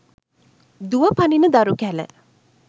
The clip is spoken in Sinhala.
දුව පනින දරු කැල